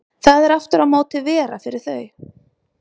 Það er aftur á móti vera fyrir þau.